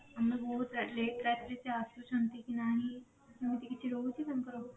ଆମେ ବହୁତ late ରାତିରେ ସେ ଆସୁଛନ୍ତି କି ନାହିଁ ସେମିତି କିଛି ରହୁଛି ତାଙ୍କର